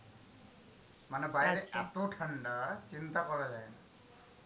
মানে বাইরে এত ঠান্ডা চিন্তা করা যাই না,